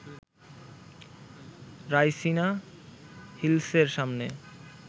রাইসিনা হিলসের সামনে